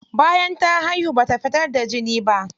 Bayan ta haihu bata fitar da jini ba.